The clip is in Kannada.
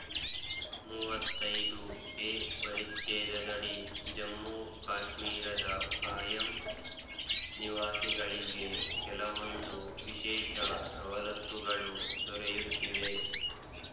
ಮೂವತ್ತ್ ಐದು ಎ ಪರಿಚ್ಛೇದದಡಿ ಜಮ್ಮುಕಾಶ್ಮೕರದ ಕಾಯಂ ನಿವಾಸಿಗಳಿಗೆ ಕೆಲವೊಂದು ವಿಶೇಷ ಸವಲತ್ತುಗಳು ದೊರೆಯುತ್ತವೆ